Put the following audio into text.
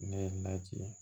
Ne ye n lajigin